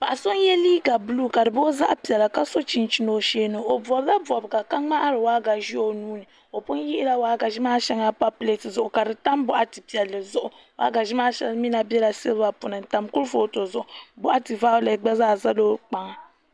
Paɣa so n yɛ liiga buluu ka di booi zaɣ piɛla ka so chinchin o shee ni o bobla bobga ka ŋmahari waagashe o nuuni o pun yihila waagashe maa shɛŋa pa pileet zuɣu ka di tam gbambili piɛlli zuɣu waagashe maa shɛli mii na bɛla silba puuni n tam kurifooti zuɣu boɣati vaulɛt gba zaa ʒɛla o kpaŋa